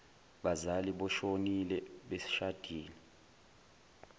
bazali boshonile beshadile